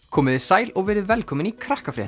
komiði sæl og verið velkomin í